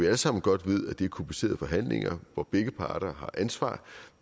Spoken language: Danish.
alle sammen godt at det er komplicerede forhandlinger hvor begge parter har et ansvar